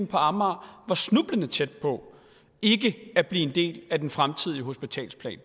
på amager snublende tæt på ikke at blive en del af den fremtidige hospitalsplan